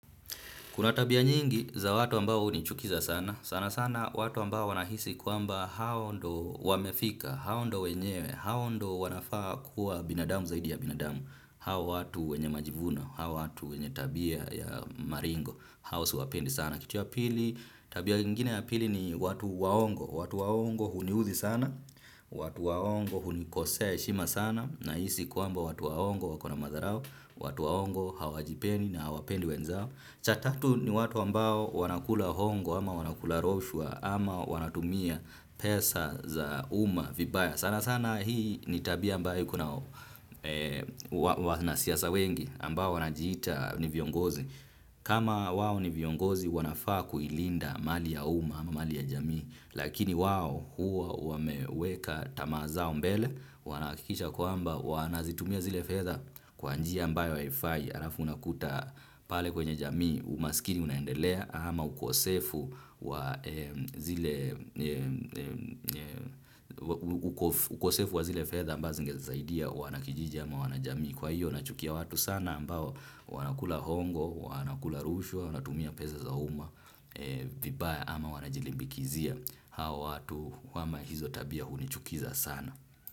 Kuna tabia nyingi za watu ambao hunichukiza sana, sana sana watu ambao wanahisi kwamba hao ndo wamefika, hao ndo wenyewe, hao ndo wanafaa kuwa binadamu zaidi ya binadamu, hao watu wenye majivuno, hao watu wenye tabia ya maringo, hao siwapendi sana. Wana kitu ya pili, tabia nyingine ya pili ni watu waongo. Watu waongo huniuzi sana, watu waongo hunikosea ya heshima sana, nahisi kwamba watu waongo wako na madharau, watu waongo hawajipendi na hawapendi wenzao. Cha tatu ni watu ambao wanakula hongo ama wanakula rushwa ama wanatumia pesa za umma vibaya. Sana sana hii ni tabia ambayo kuna wanasiasa wengi ambao wanajita ni viongozi. Kama wao ni viongozi wanafaa kuilinda mali ya umma ama mali ya jamii. Lakini wao huwa wameweka tamaa zao mbele. Wanahakikisha kwamba wanazitumia zile fedha kwa njia ambayo haifai alafu unakuta pale kwenye jamii umaskini unaendelea ama ukosefu wa ukosefu wa zile fedha ambazo zingesaidia wanakijiji ama wanajamii. Kwahiyo nachukia watu sana ambao wanakula hongo, wanakula rushwa, wanatumia peza za umma, vibaya ama wanajilimbikizia hao watu wa hizo tabia hunichukiza sana.